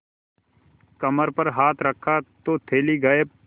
कमर पर हाथ रखा तो थैली गायब